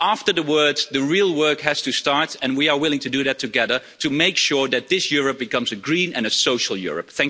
After the words, the real work has to start, and we are willing to do that together to make sure that this Europe becomes a green and a social Europe.